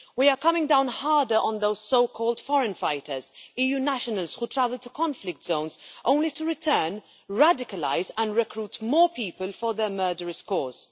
We are coming down harder on those so called foreign fighters, EU nationals who travel to conflict zones only to return radicalised and recruit more people for their murderous cause.